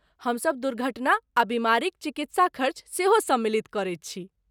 हमसभ दुर्घटना आ बीमारीक चिकित्सा खर्च सेहो सम्मिलित करैत छी।